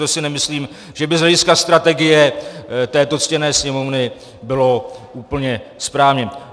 To si nemyslím, že by z hlediska strategie této ctěné Sněmovny bylo úplně správně.